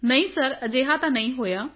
ਨਹੀਂ ਨਹੀਂ ਸਰ ਅਜਿਹਾ ਤਾਂ ਨਹੀਂ ਹੋਇਆ